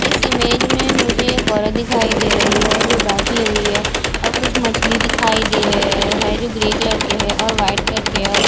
इस इमेज में मुझे एक औरत दिखाई दे रही है जो बैठी हुई है और कुछ मछली दिखाई दे रहे है जो ग्रे कलर के है और व्हाइट कलर के और एक--